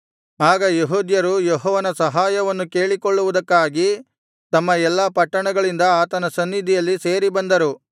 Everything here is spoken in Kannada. ಆಗ ಯೆಹೂದ್ಯರು ಯೆಹೋವನ ಸಹಾಯವನ್ನು ಕೇಳಿಕೊಳ್ಳುವುದಕ್ಕಾಗಿ ತಮ್ಮ ಎಲ್ಲಾ ಪಟ್ಟಣಗಳಿಂದ ಆತನ ಸನ್ನಿಧಿಯಲ್ಲಿ ಸೇರಿ ಬಂದರು